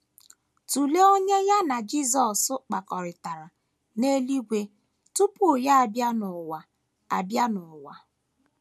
* Tụlee onye ya na Jisọs kpakọrịtara n’eluigwe tupu ya abịa n’ụwa abịa n’ụwa.